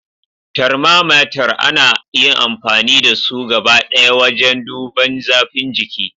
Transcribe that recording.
Tharmamater ana yin amfani da su gabadaya wajen duban zafin jiki.